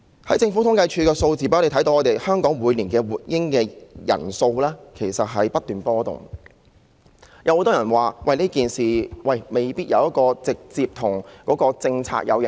從政府統計處的數字，可以看到香港每年出生的活嬰數目不斷波動，很多人認為這未必直接受到當局的政策影響。